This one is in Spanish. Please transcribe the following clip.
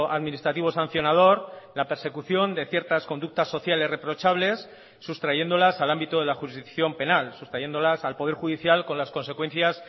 administrativo sancionador la persecución de ciertas conductas sociales reprochables sustrayéndolas al ámbito de la jurisdicción penal sustrayéndolas al poder judicial con las consecuencias